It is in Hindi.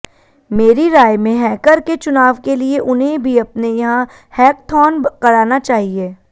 मेरी राय में हैकर के चुनाव के लिए उन्हें भी अपने यहां हैकथॉन कराना चाहिए